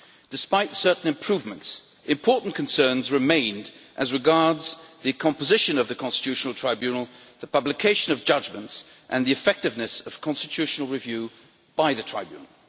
Despite certain improvements, major concerns remained as regards the composition of the Constitutional Tribunal, the publication of judgments and the effectiveness of constitutional review by the Tribunal.